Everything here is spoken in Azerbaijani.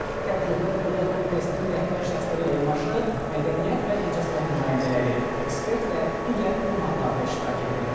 Tədbirdə Dövlət Komitəsinin rəhbər şəxsləri ilə yanaşı mədəniyyət və incəsənət nümayəndələri, ekspert və digər qonaqlar da iştirak ediblər.